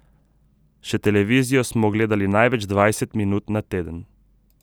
Še televizijo smo gledali največ dvajset minut na teden.